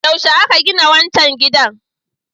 Yaushe aka gina wancan gidan?